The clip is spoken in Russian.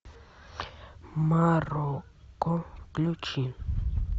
марокко включи